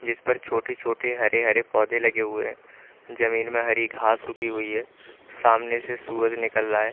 जिस पर छोटे छोटे हरे हरे पौधे लगे हुए है जमीन में हरी घास उगी हुई है सामने से सूरज निकल रहा है।